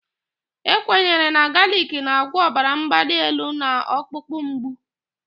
E kwenyere na galic na-agwọ ọbara mgbali elu na ọkpụkpụ mgbu.